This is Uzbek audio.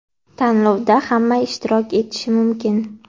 Tanlovda hamma ishtirok etishi mumkin.